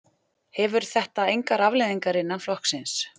Hefur þetta engar afleiðingar innan flokksins?